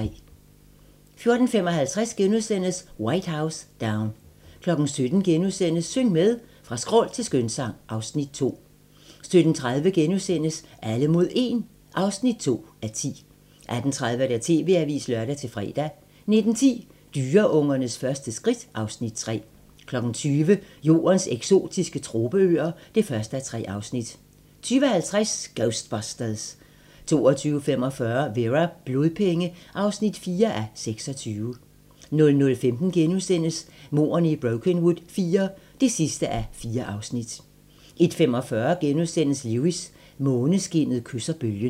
14:55: White House Down * 17:00: Syng med! Fra skrål til skønsang (Afs. 2)* 17:30: Alle mod 1 (2:10)* 18:30: TV-avisen (lør-fre) 19:10: Dyreungernes første skridt (Afs. 3) 20:00: Jordens eksotiske tropeøer (1:3) 20:50: Ghostbusters 22:45: Vera: Blodpenge (4:26) 00:15: Mordene i Brokenwood IV (4:4)* 01:45: Lewis: Måneskinnet kysser bølgen *